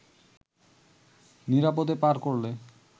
নিরাপদে পার করলে